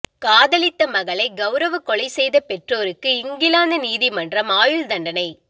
காதலித்த மகளை கௌரவ கொலை செய்த பெற்றோருக்கு இங்கிலாந்து நீதிமன்றம் ஆயுள் தண்டனை